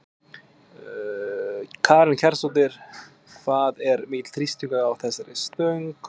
Karen Kjartansdóttir: Hvað er mikill þrýstingur á þessari stöng?